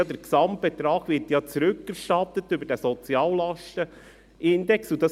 Der Gesamtbetrag wird ja über den Soziallastenindex rückerstattet.